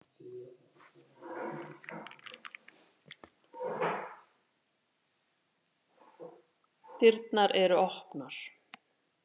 Dyrnar eru opnar.